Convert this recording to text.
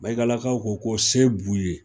Mayigalakaw ko ko se b'u ye.